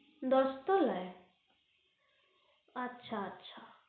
দশ তলায় আচ্ছা আচ্ছা